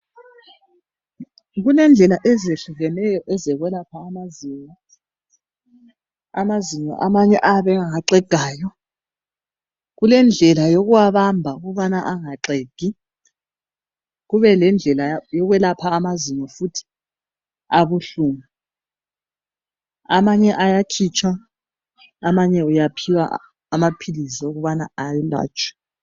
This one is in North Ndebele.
Kulendlela ezehlukeneyo ezokwelapha amazinyo. Amazinyo amanye ayabe angaxegayo. kulendlela yokubamba ukuthi engaxegi kube lendlela yokwelapha amazinyo futhi abuhlungu amanye ayakhitshwa amanye uyaphiwa amaphilizi wokubana ayelatshwe.